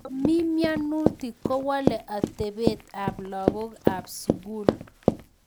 Komii mnyonitok kowolee atepeet ap lagok AP sugul